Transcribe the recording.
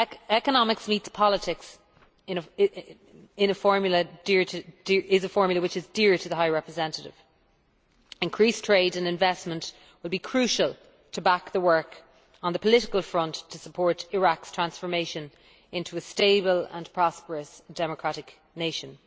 Economics meets politics' is a formula which is dear to the Vice President High Representative increased trade and investment will be crucial to back the work on the political front to support Iraq's transformation into a stable and prosperous democratic nation.